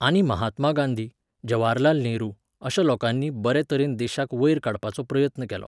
आनी महात्मा गांधी, जवाहरलाल नेहरू अशा लोकांनी बरे तरेन देशाक वयर काडपाचो प्रयत्न केलो